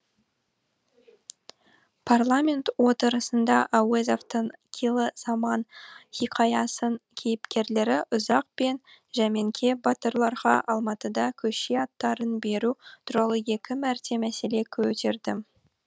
парламент отырысында әуезовтің қилы заман хикаясының кейіпкерлері ұзақ пен жәмеңке батырларға алматыда көше аттарын беру туралы екі мәрте мәселе көтердім